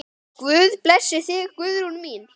Guð blessi þig, Guðrún mín.